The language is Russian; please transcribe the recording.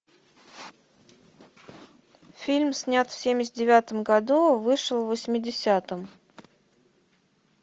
фильм снят в семьдесят девятом году вышел в восьмидесятом